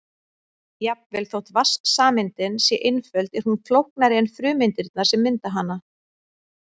Jafnvel þótt vatnssameindin sé einföld er hún flóknari en frumeindirnar sem mynda hana.